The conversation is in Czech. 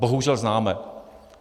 Bohužel známe.